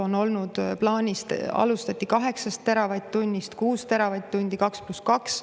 On olnud plaanis, alustati 8 teravatt-tunnist, siis 6 teravatt-tundi, 2 + 2.